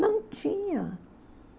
Não tinha.